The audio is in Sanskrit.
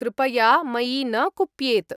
कृपया मयि न कुप्येत्।